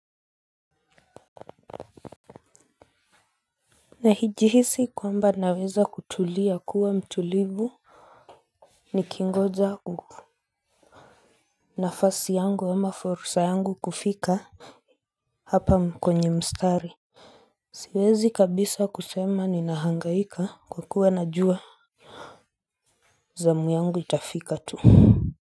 Nahijihisi kwamba naweza kutulia kuwa mtulivu. Nikingoja nafasi yangu ama fursa yangu kufika hapa kwenye mstari. Siwezi kabisa kusema ninahangaika kwa kuwa najua. Zamu yangu itafika tu kwa hiyo.